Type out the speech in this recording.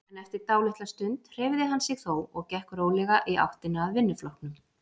En eftir dálitla stund hreyfði hann sig þó og gekk rólega í áttina að vinnuflokknum.